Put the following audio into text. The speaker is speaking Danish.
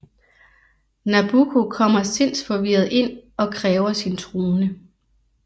Nabucco kommer sindsforvirret ind og kræver sin trone